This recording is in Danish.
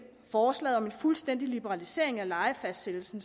forslaget om en fuldstændig liberalisering af lejefastsættelsen